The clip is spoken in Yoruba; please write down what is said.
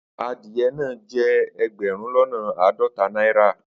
Adiye naa je egberun lona aadota naira